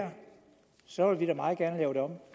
her så vil vi da meget gerne lave det om